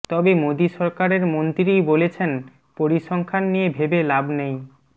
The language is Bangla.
তবে মোদী সরকারের মন্ত্রীই বলেছেন পরিসংখ্যান নিয়ে ভেবে লাভ নেই